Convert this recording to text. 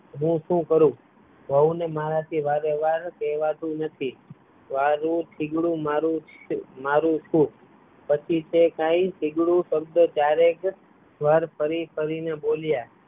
હું શું કરું? વોવ મારા થી વારેવાર કહેવાતું નથી આવું થીગડું મારું છું, પછી તો કાય થીગડું શબ્દ ચારેક વાર ફરી ફરી ને બોલ્યાં